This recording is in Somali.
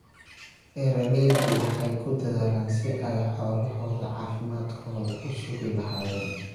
Beeraleydu waxay ku dadaalaan sidii ay xoolahooda caafimaadkooda u sugi lahaayeen.